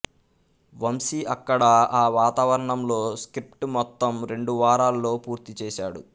వంశీ అక్కడ ఆ వాతావరణంలో స్క్రిప్ట్ మొత్తం రెండు వారాల్లో పూర్తిచేశాడు